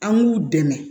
An k'u dɛmɛ